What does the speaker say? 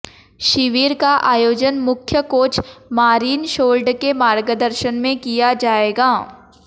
शिविर का आयोजन मुख्य कोच मारिन शोर्ड के मार्गदर्शन में किया जाएगा